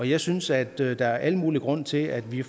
jeg synes at der er al mulig grund til at vi